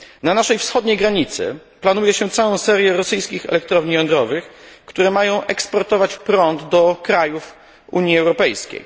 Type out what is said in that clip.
Na naszej wschodniej granicy planuje się całą serię rosyjskich elektrowni jądrowych, które mają eksportować prąd do krajów Unii Europejskiej.